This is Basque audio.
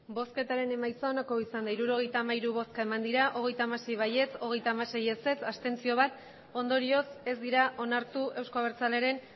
emandako botoak hirurogeita hamairu bai hogeita hamasei ez hogeita hamasei abstentzioak bat ondorioz ez dira onartu euzko abertzalearen